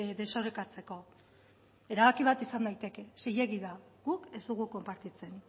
desorekatzeko erabaki bat izan daiteke zilegi da guk ez dugu konpartitzen